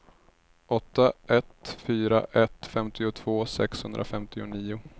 åtta ett fyra ett femtiotvå sexhundrafemtionio